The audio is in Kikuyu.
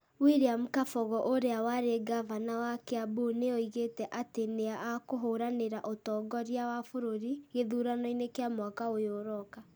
William Kabogo ũrĩa warĩ Ngavana wa Kiambu nĩ oigĩte atĩ nĩ akũhũranĩra ũtongoria wa bũrũri gĩthurano-inĩ kĩa mwaka ũyũ ũroka.